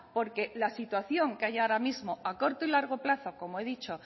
porque la situación que hay ahora mismo a corto y largo plazo como he dicho